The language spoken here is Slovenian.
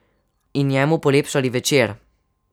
In njemu polepšali večer.